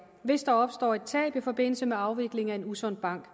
hvis der opstår et tab i forbindelse med afvikling af en usund bank